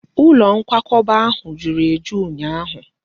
Ụlọ nkwakọba ahụ juru eju ụnyaahụ